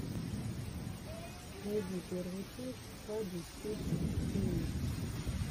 найди первую часть хабби фишин тиви